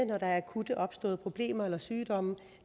når der er akut opståede problemer eller sygdomme